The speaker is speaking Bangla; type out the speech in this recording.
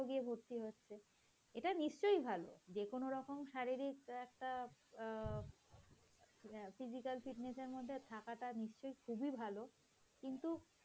তারাও গিয়ে ভর্তি হচ্ছে এটা নিশ্চয়ই ভালো যেকোন রকম শারীরিক একটা অ্যাঁ physical fitness এর মধ্যে থাকাটা নিশ্চই খুবই ভালো কিন্তু